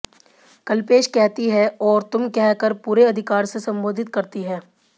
कल्पेश कहती है और तुम कह कर पूरे अधिकार से संबोधित करती है